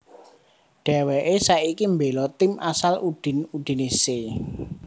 Dèwèké saiki mbéla tim asal Udine Udinese